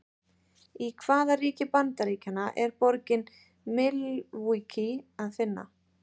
Í hvaða ríki Bandaríkjanna er borgina Milwaukee að finna?